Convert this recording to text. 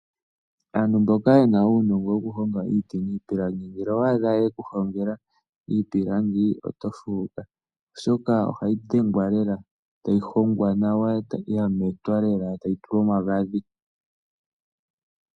Aantu mboka ye na uunongo wokuhonga iipilangi ngele owa adha ye ku hongela iipilangi oto fuuka, oshoka ohayi hogwa nawa, ya metwa e tayi tulwa omagadhi.